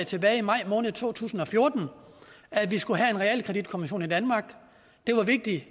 tilbage i maj måned to tusind og fjorten om at vi skulle have en realkreditkommission i danmark det var vigtigt